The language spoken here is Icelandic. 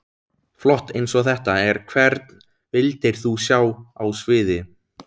Flott eins og þetta er Hvern vildir þú sjá á sviði?